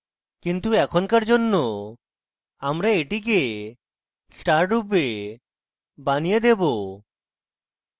কিন্তু এখনকার জন্য আমরা এটিকে star রূপে বানিয়ে দেবো